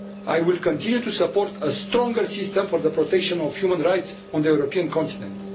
I will continue to support a stronger system for the protection of human rights on the European continent.